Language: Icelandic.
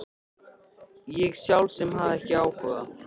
Ég sjálf sem hafði ekki áhuga.